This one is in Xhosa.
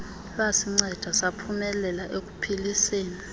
lwasinceda saphumelela ekupheliseni